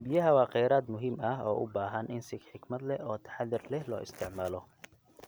Biyaha waa khayraad muhiim ah oo u baahan in si xikmad leh oo taxadar leh loo isticmaalo.